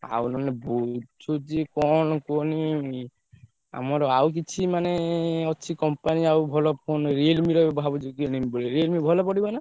ଆଉ ନହେଲେ ବୁଝୁଛି କଣ କୁହନୀ ଆମର ଆଉ କିଛି ମାନେ ଅଛି company ଆଉ ଭଲ phone Realme ର ଭାବୁଛି କିନିବୀ ବୋଲି Realme ଭଲ ପଡିବ ନା?